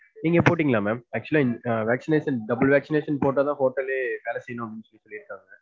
நீங்க போட்டிங்களா ma'am? actual ஆ vaccination, double vaccination போட்டுத்தான் ஹோட்டல்யே நடத்தனும் அப்டினு சொல்லிருக்காங்க.